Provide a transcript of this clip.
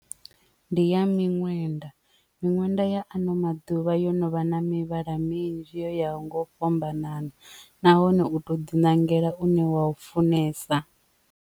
Ndi ya miṅwenda miṅwenda ya ano maḓuvha yo no vha na mivhala minzhi ya ho nga u fhambanana nahone u to ḓi ṋangela une wa u funesa.